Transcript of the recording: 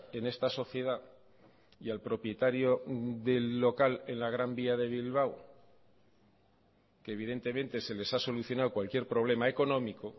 en esta sociedad y al propietario del local en la gran vía de bilbao que evidentemente se les ha solucionado cualquier problema económico